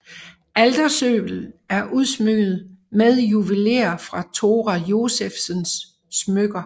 Altersølvet er udsmykket med juveler fra Thora Josephsens smykker